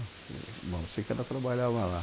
Bom, eu sei que ela trabalhava lá.